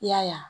I y'a ye